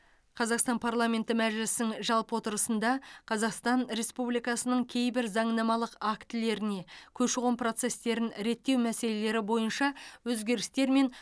қазақстан парламенті мәжілісінің жалпы отырысында қазақстан республикасының кейбір заңнамалық актілеріне көші қон процестерін реттеу мәселелері бойынша өзгерістер мен